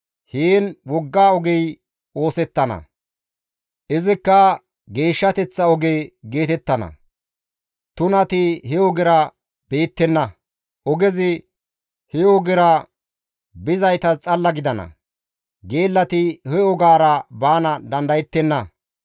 Heen wogga ogey oosettana; izikka, «Geeshshateththa Oge» geetettana. Tunati he ogera beettenna; ogezi he ogera bizaytas xalla gidana; geellati he ogaara baana dandayettenna.